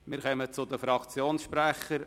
Wir kommen zu den Fraktionssprechern.